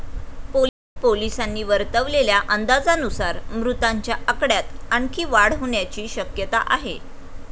पोलिसांनी वर्तवलेल्या अंदाजानुसार मृतांच्या आकड्यात आणखी वाढ होण्याची शक्यता आहे.